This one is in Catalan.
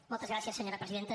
moltes gràcies senyora presidenta